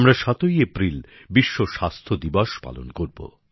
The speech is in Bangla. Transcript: আমরা ৭ই এপ্রিল বিশ্ব স্বাস্থ্য দিবস পালন করব